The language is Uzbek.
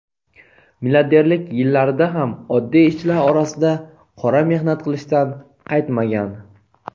Milliarderlik yillarida ham oddiy ishchilar orasida qora mehnat qilishdan qaytmagan.